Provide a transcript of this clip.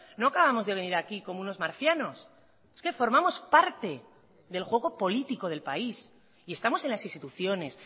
no acabamos de venir aquí como unos marcianos es que formamos parte del juego político del país y estamos en las instituciones